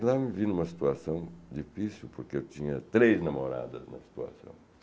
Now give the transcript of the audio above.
E lá eu me vi em uma situação difícil, porque eu tinha três namoradas na situação.